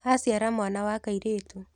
Aciara mwana wa kairĩtu.